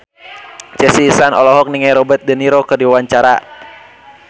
Chelsea Islan olohok ningali Robert de Niro keur diwawancara